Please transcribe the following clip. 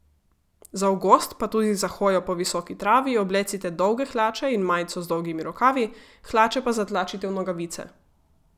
Za v gozd pa tudi za hojo po visoki travi oblecite dolge hlače in majico z dolgimi rokavi, hlače pa zatlačite v nogavice.